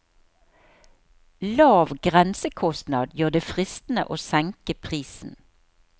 Lav grensekostnad gjør det fristende å senke prisen.